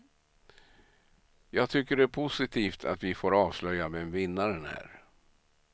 Jag tycker det är positivt att vi får avslöja vem vinnaren är.